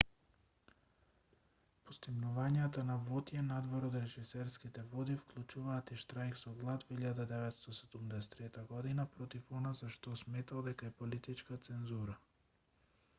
постигнувањата на вотје надвор од режисерските води вклучуваат и штрајк со глад во 1973 год против она за што сметал дека е политичка цензура